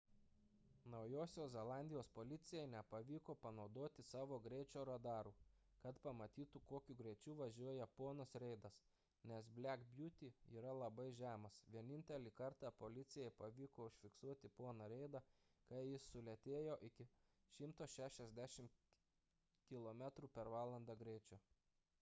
naujosios zelandijos policijai nepavyko panaudoti savo greičio radarų kad pamatytų kokiu greičiu važiuoja ponas reidas nes black beauty yra labai žemas – vienintelį kartą policijai pavyko užfiksuoti poną reidą kai jis sulėtėjo iki 160 km/h greičio